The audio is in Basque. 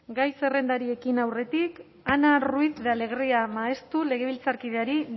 gai zerrendari ekin aurretik ana ruiz de alegria maestu legebiltzarkideari